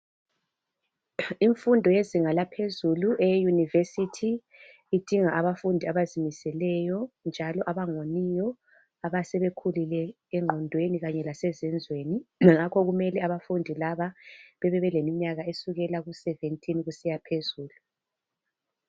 Imfundo yezinga laphezulu i university idinga abafundi abazimiseleyo njalo abangawoniyo asebekhulile engqondweni lase zenzweni ngakho kumele abafundi laba bebe lemnyaka esikela kuseventyteen kusiyaphezulu